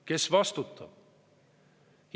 Kes vastutab?